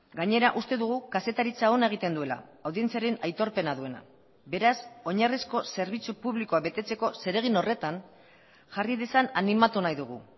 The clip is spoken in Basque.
gainera uste dugu kazetaritza ona egiten duela audientziaren aitorpena duena beraz oinarrizko zerbitzu publikoa betetzeko zeregin horretan jarri dezan animatu nahi dugu